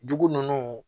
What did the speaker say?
Dugu ninnu